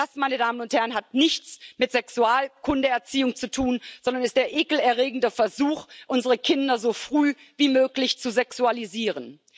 Das hat nichts mit Sexualkundeerziehung zu tun, sondern ist der ekelerregende Versuch, unsere Kinder so früh wie möglich zu sexualisieren.